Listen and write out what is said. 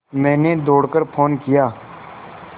मैंने दौड़ कर फ़ोन किया